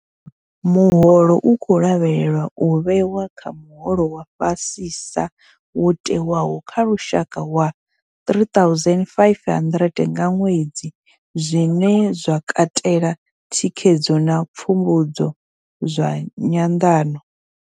Muholo u khou lavhelelwa u vhewa kha muholo wa fhasisa wo tewaho wa lushaka wa R3 500 nga ṅwedzi, zwine zwa katela thikhedzo na pfumbudzo zwa nyanḓano.